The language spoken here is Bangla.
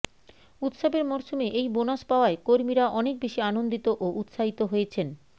উৎসবের মরশুমে এই বোনাস পাওয়ায় কর্মীরা অনেক বেশি আনন্দিত ও উৎসাহিত হয়েছেন